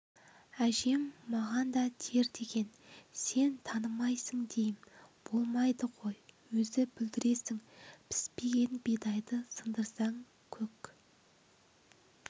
әжем маған да тер деген сен танымайсың дейім болмайды ғой өзі бұлдіресің піспеген бидайды сындырсаң көк